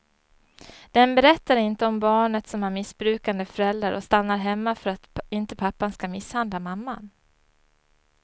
Den berättar inte om barnet som har missbrukande föräldrar och stannar hemma för att inte pappan ska misshandla mamman.